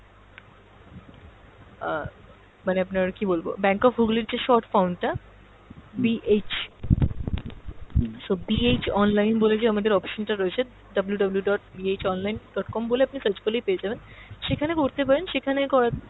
আহ মানে আপনার কী বলবো bank of Hooghly র যে short form টা BH so BH online বলে আমাদের যে option টা রয়েছে WWW dot BH online dot com বলে আপনি search করলেই পেয়ে যাবেন, সেখানে করতে পারেন সেখানে কর,